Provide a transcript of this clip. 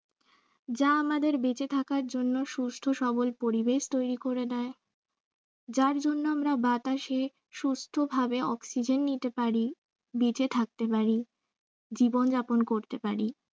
যা আমাদের বেঁচে থাকার জন্য সুস্থ সবল পরিবেশ তৈরি করে দেয় যার জন্য আমরা বাতাসে সুস্থভাবে oxygen নিতে পারি। বেঁচে থাকতে পারি, জীবন যাপন করতে পারি